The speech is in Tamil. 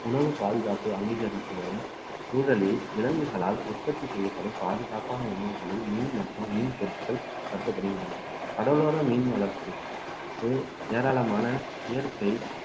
உணவு பாதுகாப்பு அங்கீகரித்து வரும் சூழலில் விலங்குகளால் உற்பத்தி செய்யப்படும் பாதுகாப்பான உணவுகளில் மீன் மற்றும் மீன் பொருட்கள் கருதப்படுகின்றன கடலோர மீன் வளர்ப்பு இது ஏராளமான இயற்கை